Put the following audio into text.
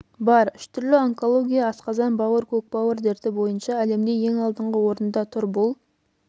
бар үш түрлі онкология асқазан бауыр көкбауыр дерті бойынша әлемде ең алдыңғы орында тұр бұл